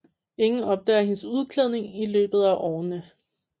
Ingen opdager hendes udklædning i løbet af årene